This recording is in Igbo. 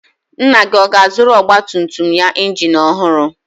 Nna gị ọ ga-azụrụ ọgbatumtum ya injin ọhụrụ?